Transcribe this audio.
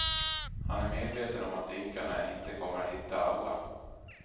Han är medveten om att dykarna inte kommer att hitta alla.